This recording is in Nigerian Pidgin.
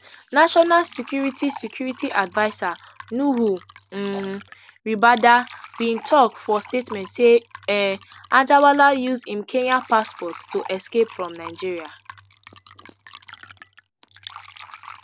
national security security adviser nuhu um ribadu bin tok for statement say um anjarwalla use im kenyan passport to escape from nigeria